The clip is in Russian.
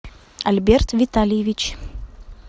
альберт витальевич